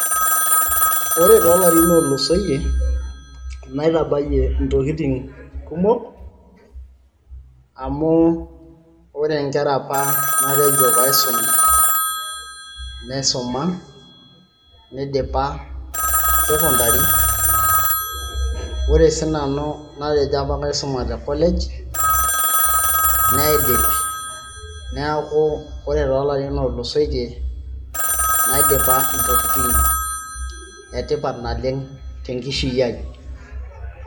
ore toolarin ootulusoyie naitabayie intokitin kumok amu ore inkera apa natejo paisum naisuma nidipa sekondari ore si nanu natejo apa kaisuma te college naidip neeku ore toolarin ootulusoitie naidipa intokitin e tipat naleng tenkishui ai.